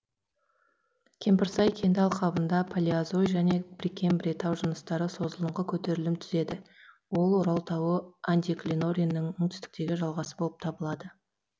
кемпірсай кенді алқабында палеозой және прекембрий тау жыныстары созылыңқы көтерілім түзеді ол орал тауы антиклинорийінің оңтүстіктегі жалғасы болып табылады